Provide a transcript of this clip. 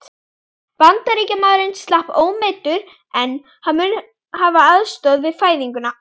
Bandaríkjamaðurinn slapp ómeiddur, en hann mun hafa aðstoðað við fæðinguna.